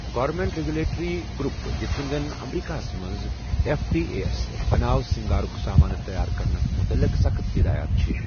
Government regulatory group یِتھ کٔنہِ زن امریکہَ ہس منٛز ایف ڈی اے ہس بناو سِنگارُك سامانہٕ تیار کرنَس مُتعلق سخٕت ہدایَت چھِ ۔